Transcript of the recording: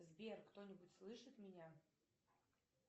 сбер кто нибудь слышит меня